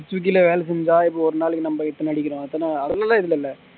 ஸ்விக்கில வேலை செஞ்சா இப்போ ஒரு நாளைக்கு நம்ப எத்தனை அதுல எல்லா ஏதும் இல்ல